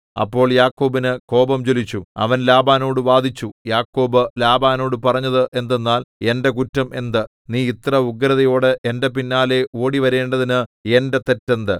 അപ്പോൾ യാക്കോബിനു കോപം ജ്വലിച്ചു അവൻ ലാബാനോടു വാദിച്ചു യാക്കോബ് ലാബാനോടു പറഞ്ഞത് എന്തെന്നാൽ എന്റെ കുറ്റം എന്ത് നീ ഇത്ര ഉഗ്രതയോടെ എന്റെ പിന്നാലെ ഓടി വരേണ്ടതിന് എന്റെ തെറ്റ് എന്ത്